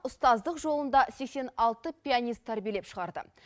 ұстаздық жолында сексен алты пианист тәрбиелеп шығарды